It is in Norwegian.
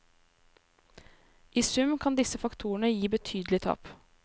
I sum kan disse faktorene gi betydelige tap.